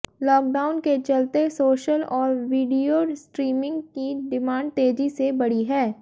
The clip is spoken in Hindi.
लॉकडाउन के चलते सोशल और वीडियो स्ट्रीमिंग की डिमांड तेजी से बढ़ी है